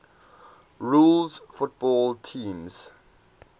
rules football teams